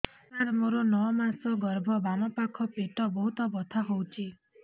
ସାର ମୋର ନଅ ମାସ ଗର୍ଭ ବାମପାଖ ପେଟ ବହୁତ ବଥା ହଉଚି